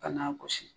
Ka n'a gosi